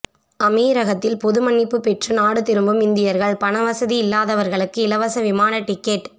அமீரகத்தில் பொதுமன்னிப்பு பெற்று நாடு திரும்பும் இந்தியர்கள் பணவசதி இல்லாதவர்களுக்கு இலவச விமான டிக்கெட்